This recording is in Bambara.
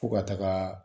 Fo ka taga